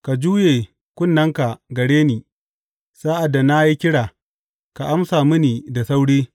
Ka juye kunnenka gare ni; sa’ad da na yi kira, ka amsa mini da sauri.